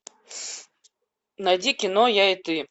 найди кино я и ты